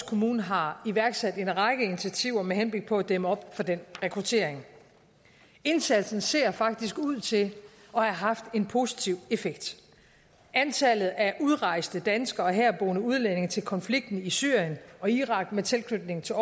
kommune har iværksat en række initiativer med henblik på at dæmme op for den rekruttering indsatsen ser faktisk ud til at have haft en positiv effekt antallet af udrejsende danskere og herboende udlændinge til konflikten i syrien og irak med tilknytning til